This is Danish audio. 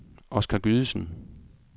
Oscar Gydesen